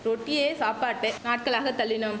ரொட்டியே சாப்பாட்டு நாட்களாக தள்ளினோம்